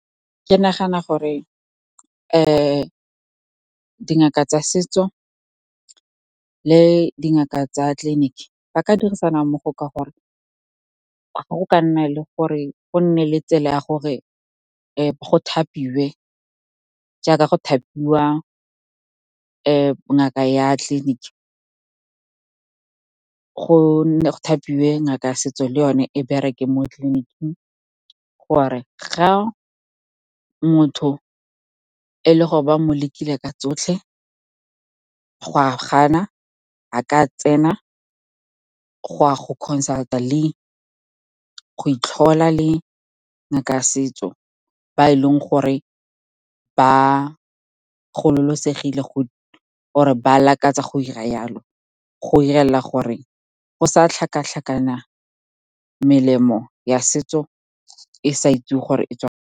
Ke nagana gore dingaka tsa setso le dingaka tsa tleliniki ba ka dirisana mmogo, ka gore ga go ka nna le gore go nne le tsela ya gore go thapiwe jaaka go thapiwa ngaka ya tleliniki, go thapiwe ngaka ya setso le yone e bereke mo tleliniking. Gore ga motho e le gore ba mo lekile ka tsotlhe go a gana, a ka tsena go ya go consult-a le go itlhola le ngaka ya setso, ba e leng gore ba or-e ba lakatsa go 'ira yalo, go 'irela gore go sa tlhakatlhakana melemo ya setso e sa itsewe gore e tswa.